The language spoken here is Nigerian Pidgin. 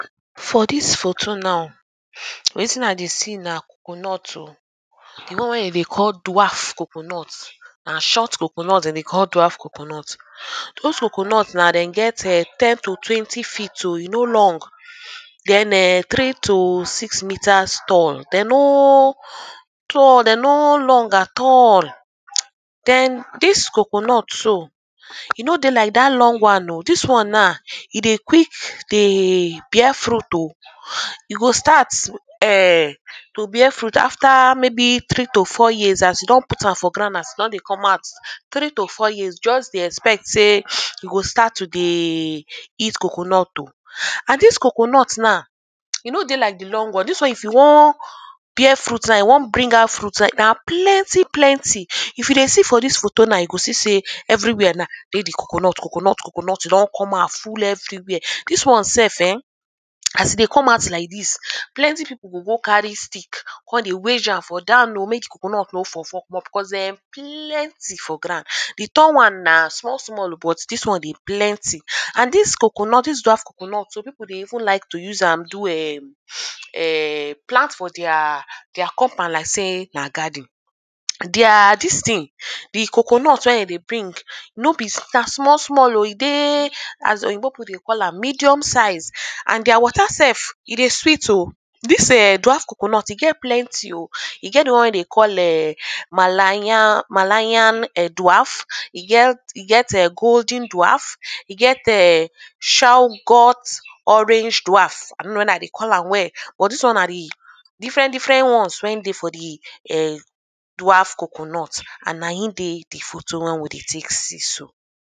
For dis photo now, wetin i dey see na coconut oh. The one wey dem dey call dwaft coconut. Na short coconut dem dey call dwaft coconut. Er dis coconut now de get ern ten to twenty fit oh, e no long urh. Den ern three to six meters tall. De no urh tall. De no long at all. mhe Erm dis coconut so e no dey like dat long one oh. Dis one now e dey quick dey bear fruit oh. E go start ern to bear fruit after maybe three to four years as you don put am for ground. As e don dey come out three to four years just dey expect sey you go start to dey eat coconut oh. And dis coconut now e no dey like the long one. Dis one if you wan bear fruit now e wan bring out fruit now na plenty plenty. If you dey see for dis photo now you go see sey everywhere now get the coconut coconut coconut. You don out full everywhere. Dis one self ern as e dey come out like dis, plenty people go go carry stick dey con weidge am for down oh make the coconut no fall fall cos because erm plenty for ground. The down one na small small but dis one dey plenty. And dis coconut, dis dwaft coconut some people dey even like to use am do erm erm plant for their their compound like sey na garden. Their dis thing the coconut wey dem dey bring, no be na small small oh. E dey as Oyinbo people dey call am medium size and their water self e dey sweet oh. Dis ern dwaft coconut e get plenty oh. E get the one wey dem dey call ern malayan malayan dwaft. E get e get golden dwaft. E get ern chowghat orange dwaft. I no know whether i dey call am well. But dis one na the different different one wey dey for the ern dwaft coconut and na im dey the photo when we dey take see so.